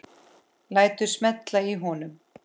Lætur smella í honum.